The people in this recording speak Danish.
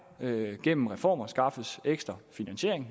gennem reformer skaffes ekstra finansiering